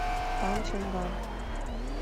фанчэнган